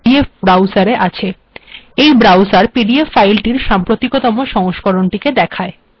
এই browser PDF ফাইলটির সাম্প্রিতকতম সংস্করনটি দেখায়